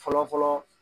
Fɔlɔ fɔlɔ